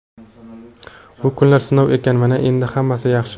Bu kunlar sinov ekan... Mana endi hammasi yaxshi.